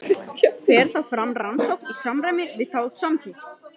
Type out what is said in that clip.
Fer þá fram rannsókn í samræmi við þá samþykkt.